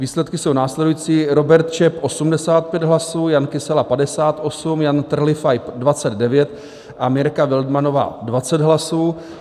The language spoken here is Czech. Výsledky jsou následující: Robert Čep 85 hlasů, Jan Kysela 58, Jan Trlifaj 29 a Mirka Wildmannová 20 hlasů.